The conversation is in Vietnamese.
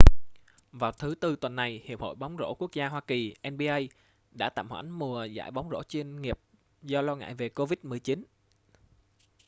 vào thứ tư tuần này hiệp hội bóng rổ quốc gia hoa kỳnba đã tạm hoãn mùa giải bóng rổ chuyên nghiệp do lo ngại về covid-19